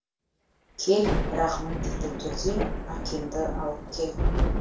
кел бірақ міндетті түрде акимды алып кел